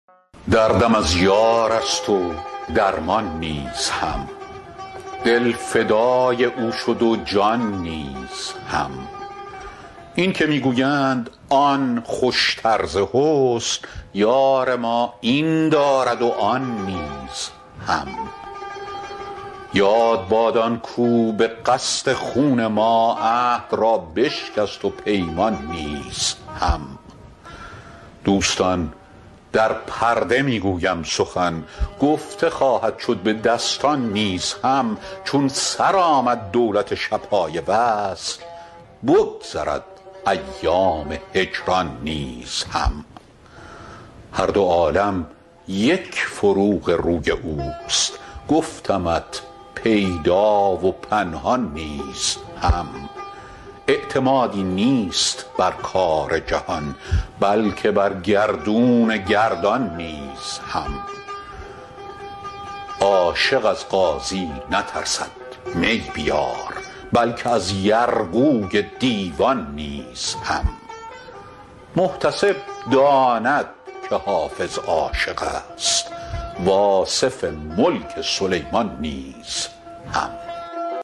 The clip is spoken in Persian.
دردم از یار است و درمان نیز هم دل فدای او شد و جان نیز هم این که می گویند آن خوشتر ز حسن یار ما این دارد و آن نیز هم یاد باد آن کاو به قصد خون ما عهد را بشکست و پیمان نیز هم دوستان در پرده می گویم سخن گفته خواهد شد به دستان نیز هم چون سر آمد دولت شب های وصل بگذرد ایام هجران نیز هم هر دو عالم یک فروغ روی اوست گفتمت پیدا و پنهان نیز هم اعتمادی نیست بر کار جهان بلکه بر گردون گردان نیز هم عاشق از قاضی نترسد می بیار بلکه از یرغوی دیوان نیز هم محتسب داند که حافظ عاشق است و آصف ملک سلیمان نیز هم